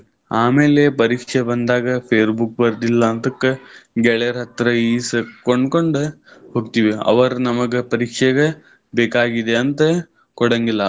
ಆಮೇಲೆ ಪರೀಕ್ಷೆ ಬಂದಾಗ fairbook ಬರ್ದಿಲ್ಲಂತಕ್ ಗೆಳೆಯರ ಹತ್ರ ಇಸ್ಕೊಂಡ್ ಕೊಂಡ್ ಹೋಗ್ತಿವಿ. ಅವರ್ ನಮಗ ಪರೀಕ್ಷೆಗ ಬೇಕಾಗಿದೆ ಅಂತ ಕೋಡಂಗಿಲ್ಲಾ.